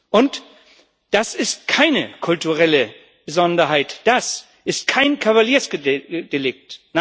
Und das ist keine kulturelle Besonderheit, das ist kein Kavaliersdelikt.